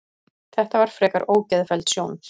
Þetta var frekar ógeðfelld sjón